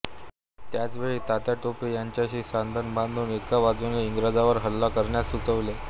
त्याच वेळी तात्या टोपे यांच्याशी संधान बांधून एका बाजूने इंग्रजांवर हल्ला करण्यास सुचविले